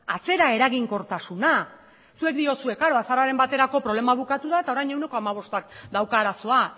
atzera eraginkortasuna zuek diozue klaro azaroaren baterako problema amaitu da eta orain ehuneko hamabostak dauka arazoa